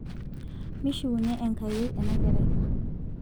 mishiwunye enkai enakerai